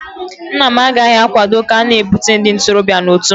Nna m agaghị akwado ka a na-ebute ndị ntorobịa na otu mmanwụ